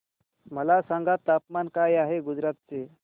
मला सांगा तापमान काय आहे गुजरात चे